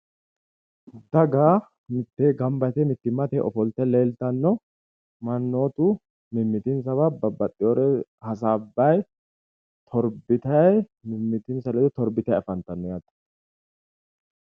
daga mitteeni gamba yite mittimmate ofolte leelitano. mannootu mimmitinsawa babbaxewoore hasaabayi mimmitinsa ledo torbitanni afantanno yaate.